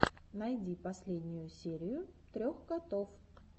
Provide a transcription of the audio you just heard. найди последнюю серию трех котов